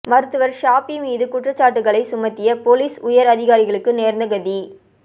மருத்துவர் ஷாபி மீது குற்றச்சாட்டுக்களை சுமத்திய பொலிஸ் உயர் அதிகாரிகளுக்கு நேர்ந்த கதி